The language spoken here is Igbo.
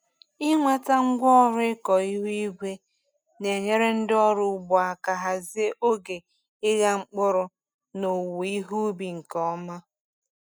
Ịnweta ngwaọrụ ịkọ ihu igwe na-enyere ndị ọrụ ugbo aka hazie oge ịgha mkpụrụ na owuwe ihe ubi nke ọma.